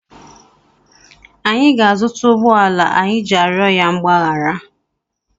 Anyị ga-azụta ụgbọala anyị ji arịọ ya mgbaghara.